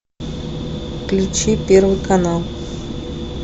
включи первый канал